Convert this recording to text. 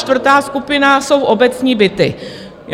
Čtvrtá skupina jsou obecní byty.